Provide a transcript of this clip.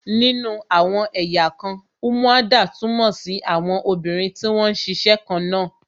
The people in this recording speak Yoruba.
Nínú àwọn ẹ̀yà kan, umuada túmọ̀ sí àwọn obìnrin tí wón ń ṣiṣẹ́ kan náà